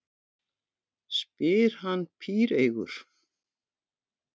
spyr hann píreygur.